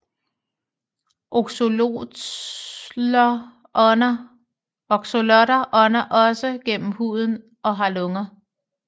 Axolotler ånder også gennem huden og har lunger